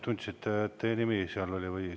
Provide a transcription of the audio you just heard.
Tundsite, et teie nimi seal oli?